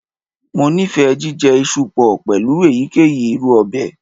Mo nifẹ jijẹ iṣu pọ pẹlu eyikeyi iru ọbẹ.